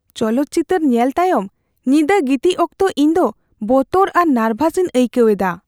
ᱪᱚᱞᱚᱛ ᱪᱤᱛᱟᱹᱨ ᱧᱮᱞ ᱛᱟᱭᱚᱢ ᱧᱤᱫᱟᱹ ᱜᱤᱛᱤᱡ ᱚᱠᱛᱚ ᱤᱧ ᱫᱚ ᱵᱚᱛᱚᱨ ᱟᱨ ᱱᱟᱨᱵᱷᱟᱥᱤᱧ ᱟᱹᱭᱠᱟᱹᱣ ᱮᱫᱟ ᱾